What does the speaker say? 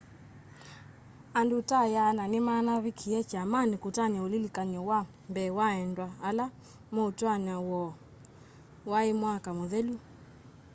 andû ta 100 nîmanavikie kyamanî kutania ulilikany'o wa mbee wa endwa ala mûtwaano woo waî mwaka mûthelu